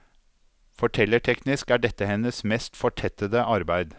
Fortellerteknisk er dette hennes mest fortettede arbeide.